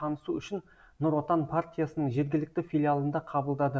танысу үшін нұр отан партиясының жергілікті филиалында қабылдады